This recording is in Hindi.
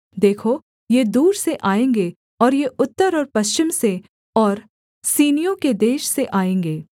देखो ये दूर से आएँगे और ये उत्तर और पश्चिम से और सीनियों के देश से आएँगे